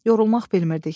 Yorulmaq bilmirdik.